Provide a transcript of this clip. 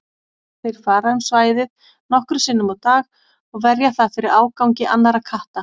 Þeir fara um svæðið nokkrum sinnum á dag og verja það fyrir ágangi annarra katta.